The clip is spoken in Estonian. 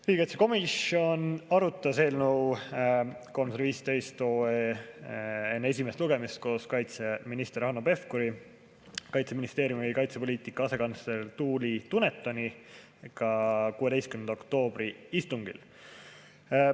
Riigikaitsekomisjon arutas eelnõu 315 enne esimest lugemist koos kaitseminister Hanno Pevkuri ja Kaitseministeeriumi kaitsepoliitika asekantsleri Tuuli Dunetoniga 16. oktoobri istungil.